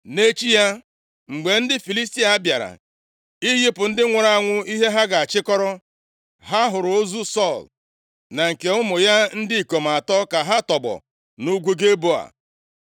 Nʼechi ya, mgbe ndị Filistia bịara iyipụ ndị nwụrụ anwụ ihe ha ga-achịkọrọ, ha hụrụ ozu Sọl na nke ụmụ ya ndị ikom atọ ka ha tọgbọ nʼugwu Gilboa.